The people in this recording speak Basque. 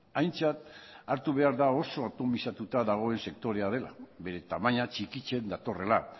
aintzat hartu behar da oso atomizatuta dagoen sektorea dela bere tamaina txikitzen datorrela